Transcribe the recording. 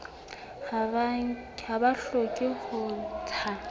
ha ba hloke ho ntsha